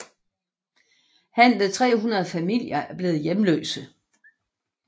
Henved 300 familier er blevet hjemløse